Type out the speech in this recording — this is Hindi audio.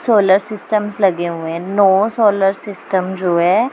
सोलर सिस्टमस लगे हुए है नौ सोलर सिस्टम जो है।